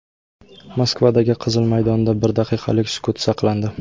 Moskvadagi Qizil maydonda bir daqiqalik sukut saqlandi.